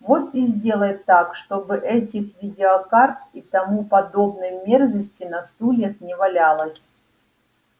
вот и сделай так чтобы этих видеокарт и тому подобной мерзости на стульях не валялось